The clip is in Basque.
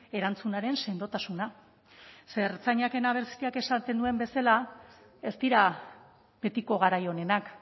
erantzunaren sendotasuna ze hertzainaken abestian esaten zuen bezala ez dira betiko garai onenak